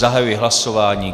Zahajuji hlasování.